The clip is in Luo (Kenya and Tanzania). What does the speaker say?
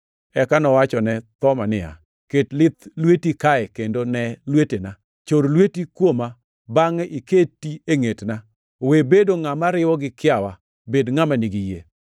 Eka nowachone Thoma niya, “Ket lith lweti kae kendo nee lwetena. Chor lweti kuoma bangʼe iketi e ngʼetna. We bedo ngʼama riwo gi kiawa, bed ngʼama nigi yie!”